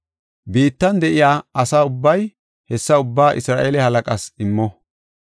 Biittan de7iya asa ubbay hessa ubbaa Isra7eele halaqaas immo.